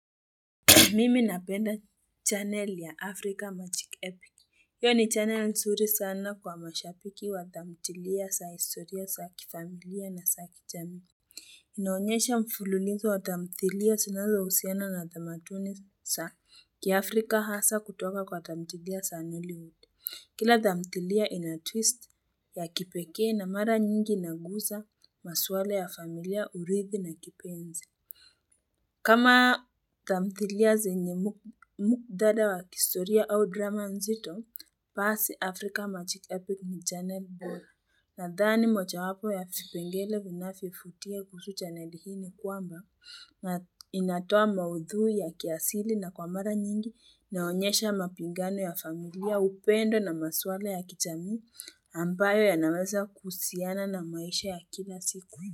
Mimi napenda channel ya Africa Magic Epic. Hiyo ni channel nzuri sana kwa mashambiki wa tamthilia, saa historia, saa kifamilia na saa kichamii. Inaonyesha mfululizo wa tamthilia sinazo usiana na tamatuni saa. Kiafrika hasa kutoka kwa tamthilia saa nili huti. Kila tamthilia ina twist ya kipekee na mara nyingi inaguza maswala ya familia, urithi na kipenzi. Kama tamthilia zenye muktadha wa kistoria au drama nzito, pasi afrika magic epic ni chaneli bora nadhani moja wapo ya vipengele vinavyofutia kusu chaneli hii ni kwamba inatoa maudhui ya kiasili na kwa mara nyingi inaonyesha mapingano ya familia upendo na masuala ya kijamii ambayo ya naweza kuhusiana na maisha ya kila siku.